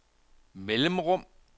mellemrum